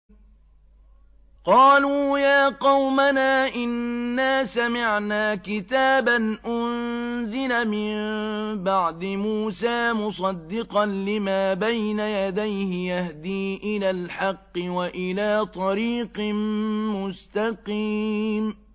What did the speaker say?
قَالُوا يَا قَوْمَنَا إِنَّا سَمِعْنَا كِتَابًا أُنزِلَ مِن بَعْدِ مُوسَىٰ مُصَدِّقًا لِّمَا بَيْنَ يَدَيْهِ يَهْدِي إِلَى الْحَقِّ وَإِلَىٰ طَرِيقٍ مُّسْتَقِيمٍ